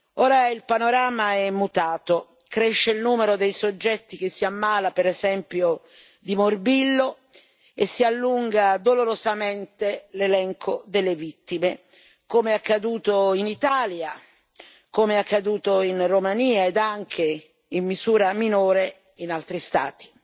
Ora il panorama è mutato cresce il numero dei soggetti che si ammala, per esempio, di morbillo e si allunga dolorosamente l'elenco delle vittime, come è accaduto in Italia, in Romania ed anche, in misura minore, in altri Stati.